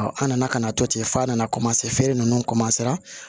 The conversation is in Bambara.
an nana ka na to ten f'a nana feere ninnu